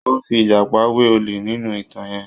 Wọ́n fi ìjàpá wé olè nínú ìtàn yẹn.